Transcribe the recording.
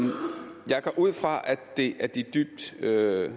det er af